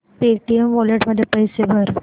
Paytm wallet मध्ये पैसे भर